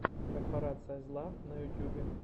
корпорация зла на ютьюбе